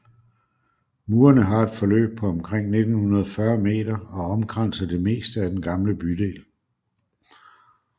Murene har et forløb på omkring 1940 m og omkranser det meste af den gamle bydel